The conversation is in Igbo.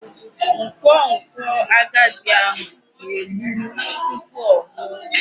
Nkwonkwo agadi ahụ. na-egburu tupu ọ nwụọ.